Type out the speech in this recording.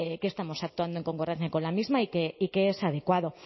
que estamos actuando en concordancia con la misma y que es adecuado